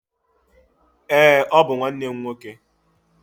Ee, ọ bụ nwanne m nwoke.